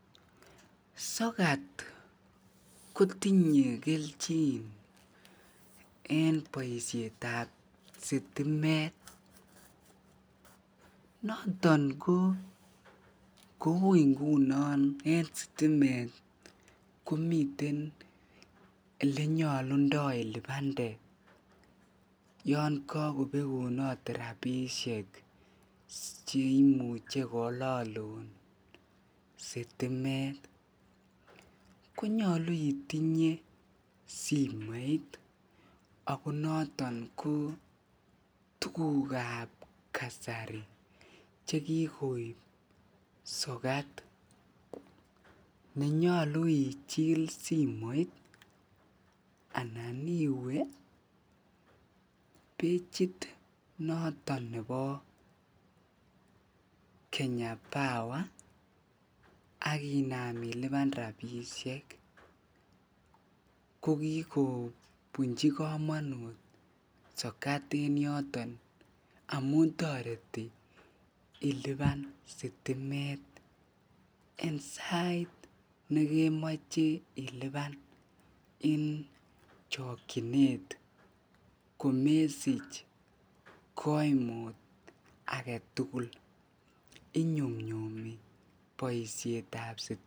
Sokat kotinye kelchin en boishetab sitimet noton ko kouu ingunon en sitimet komiten elenyolundo ilibande yoon kokobekunot rabishek cheimuche kololun sitimet konyolu itinye simoit ak ko noton ko tukukab kasari chekikoib sokat nenyolu ichil simoit anan iwee pechit noton nebo Kenya power ak inaam iliban rabishek ko kikobunchi komonut sokat en yoton amun toreti iliban sitimet en sait nekemoche iliban en chokyinet komesich koimut aketukul, inyumnyumi boishetab sitimet.